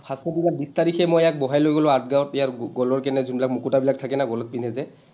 সাতশ টকাত বিশ তাৰিখে মই ইয়াক বহাই লৈ গ’লো আঠগাঁও, ইয়াৰ গলৰ কেনে ঝুমলা, মুকুতাবিলাক থাকে যে গলত পিন্ধে যে।